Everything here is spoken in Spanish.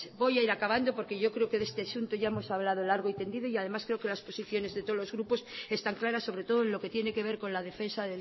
voy a ir acabando porque yo creo que de este asunto ya hemos hablado largo y tendido y además creo que las posiciones de todos los grupos están claras sobre todo en lo que tiene que ver con la defensa